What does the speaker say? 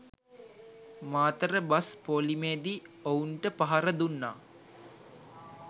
Matara bus ‍පෝලිමේදී ඔවුන්ට පහර දුන්නා